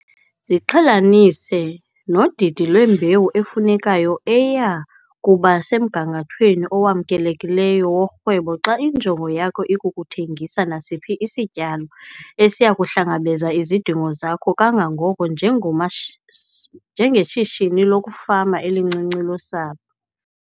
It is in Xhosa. Ziqhelanise nodidi lwembewu efunekayo eya kuba semgangathweni owamkelekileyo worhwebo xa injongo yakho ikukuthengisa nasiphi isityalo esiya kuhlangabeza izidingo zakho kangangoko njengeshishini lokufama elincinci losapho.